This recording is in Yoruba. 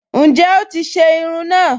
Ǹjẹ́ o ti se irun náà